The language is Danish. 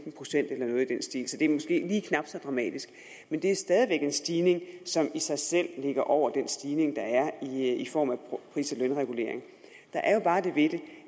procent eller noget i den stil så det er måske lige knap så dramatisk men det er stadig være en stigning som i sig selv ligger over den stigning der er i form af pris og lønregulering der er jo bare det ved